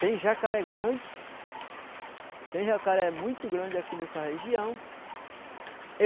Tem jacaré grande, tem jacaré muito grande aqui nessa região.